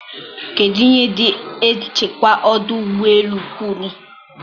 kedụ ihe ndị nchekwa ọdụ ụgbọ elu kwuru?